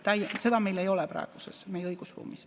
Seda meil ei ole meie praeguses õigusruumis.